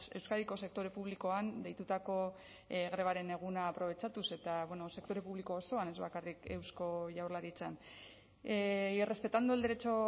euskadiko sektore publikoan deitutako grebaren eguna aprobetxatuz eta sektore publiko osoan ez bakarrik eusko jaurlaritzan y respetando el derecho